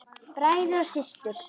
Bræður og systur!